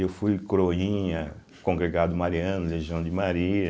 Eu fui coroinha, congregado mariano, Legião de Maria,